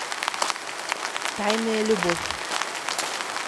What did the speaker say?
тайная любовь